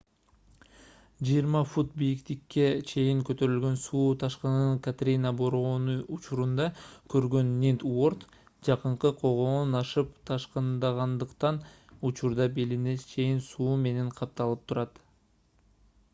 20 фут бийиктикке чейин көтөрүлгөн суу ташкынын катрина бороону учурунда көргөн нинт уорд жакынкы тогоон ашып ташкындагандыктан учурда белине чейин суу менен капталып турат